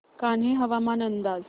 कान्हे हवामान अंदाज